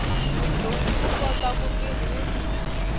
mudyondzi u kota ku tirhisa